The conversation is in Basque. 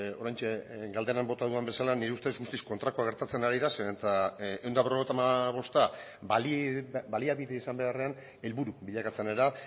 oraintxe galderan bota dudan bezala nire ustez guztiz kontrakoa gertatzen ari da zeren eta ehun eta berrogeita hamabosta baliabide izan beharrean helburu bilakatzen ari da